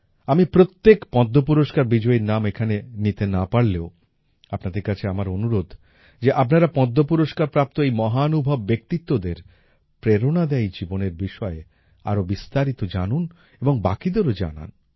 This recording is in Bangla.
আমি প্রত্যেক পদ্ম পুরস্কার বিজয়ীর নাম এখানে নিতে না পারলেও আপনাদের কাছে আমার অনুরোধ যে আপনারা পদ্ম পুরস্কার প্রাপ্ত এই মহানুভব ব্যক্তিত্বদের প্রেরণাদায়ী জীবনের বিষয়ে আরো বিস্তারিত জানুন এবং বাকিদেরও জানান